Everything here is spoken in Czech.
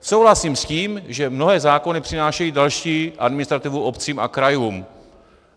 Souhlasím s tím, že mnohé zákony přinášejí další administrativu obcím a krajům.